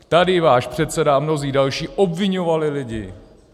Tady váš předseda a mnozí další obviňovali lidi.